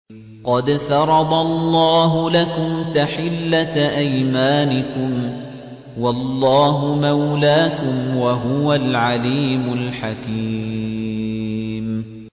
قَدْ فَرَضَ اللَّهُ لَكُمْ تَحِلَّةَ أَيْمَانِكُمْ ۚ وَاللَّهُ مَوْلَاكُمْ ۖ وَهُوَ الْعَلِيمُ الْحَكِيمُ